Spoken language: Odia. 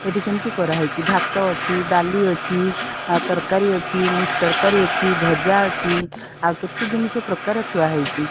ଏଠି ସେମତି କରାଯାଇଛି ଭାତ ଅଛି ଡାଲି ଅଛି ଆ ତରକାରି ଅଛି ମିକ୍ସ ତରକାରି ଅଛି ଭାଜା ଅଛି ଆଉ କେତେ ଜିନିଷ ପ୍ରକାର ଥୁଆହେଇଚି ।